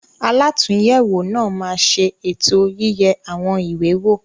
Alàtúnyẹwò náà má ṣe ètò yiye àwọn ìwé wo.